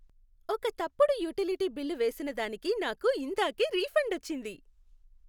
ఒక తప్పుడు utility bill వేసినదానికి నాకు ఇందాకే రిఫండ్ వచ్చింది.